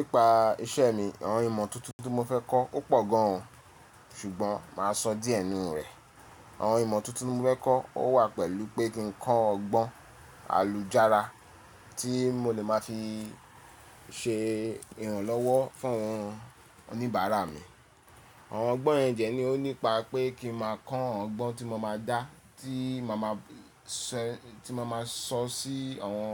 Nípa iṣẹ́ mi, àwọn ìmọ̀ tuntun tí mo fẹ́ kọ́ ó pọ̀ gan an ṣùgbọ́n màá sọ díẹ̀ nínú rẹ̀. Àwọn ìmọ̀ tuntun tí mo fẹ́ kọ́ ó wà pẹ̀lú pé kí n kọ́ ọgbọ́n àlùjára tí mo lè máa fi ṣe ìrànlọ́wọ́ fún àwọn oníbàárà mi. Àwọn ọgbọ́n yen de ó nípa pé kí n má a kọ́ àwọn ọgbọ́n tí mo má a dá tí mo máa sọ sí àwọn